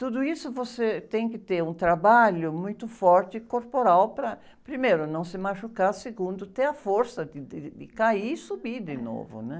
Tudo isso você tem que ter um trabalho muito forte corporal para, primeiro, não se machucar, segundo, ter a força de, de, de cair e subir de novo, né?